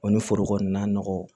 O ni foro kɔni na nɔgɔ